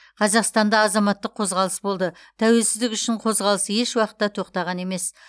қазақстанда азаматтық қозғалыс болды тәуелсіздік үшін қозғалыс еш уақытта тоқтаған емес